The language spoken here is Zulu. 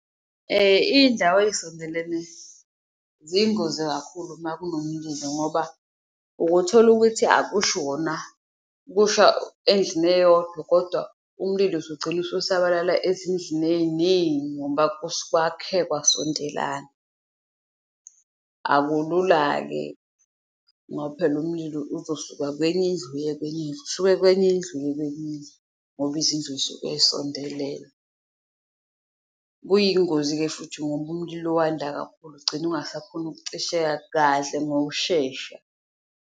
Iyindawo eyisondelene ziyingozi kakhulu makunomlilo ngoba uke uthole ukuthi akushi wona kusha endlini eyodwa kodwa umlilo usugcina ukusabalala ezindlini eyiningi ngoba kwakhe kwasondelana. Akulula-ke ngoba phela umlilo uzosuka kwenye indlu, uye kwenye indlu, usuke kwenye indlu, uye kwenye indlu ngoba izindlu yisuke y'sondelene, kuyingozi-ke futhi ngoba umlilo wanda kakhulu ugcine ungasakhoni ukucisheka kahle ngokushesha.